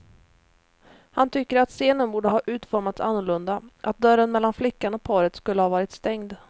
Han tycker att scenen borde ha utformats annorlunda, att dörren mellan flickan och paret skulle ha varit stängd.